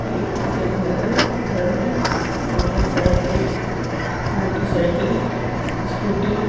एक यह घर है घर में मोटर साइकिले मोटर साइकिल स्कूटी --